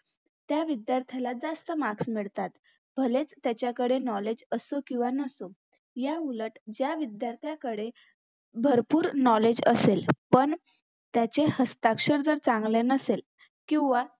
त्या विध्यार्थाला जास्त marks मिळतात भलेच त्याच्याकडे knowledge असो किंवा नसो याउलट ज्या विध्यार्थाकडे भरपूर knowledge असेल पण त्याचे हस्ताक्षर जर चांगल नसेल किंवा